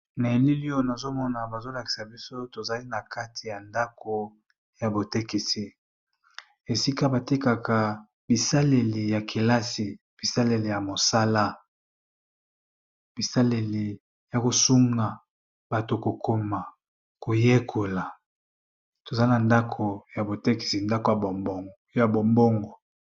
Na yelili oyo nazomona bazolakisa biso tozali na kati ya ndako ya botekisi. Esika batekaka bisaleli ya kelasi bisaleli ya mosala bisaleli ya kosunga bato kokoma koyekola tozali na ndako ya botekisi ndako ya bombongo.